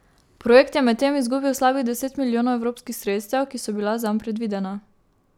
Projekt je medtem izgubil slabih deset milijonov evropskih sredstev, ki so bila zanj predvidena.